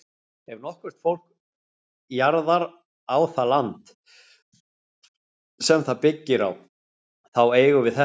Ef nokkurt fólk jarðar á það land, sem það byggir, þá eigum við þetta.